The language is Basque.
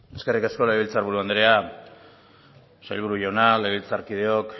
eskerrik asko legebiltzar buru andrea sailburu jauna legebiltzarkideok